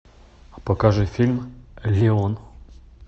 покажи фильм леон